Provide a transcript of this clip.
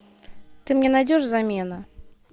ты мне найдешь замена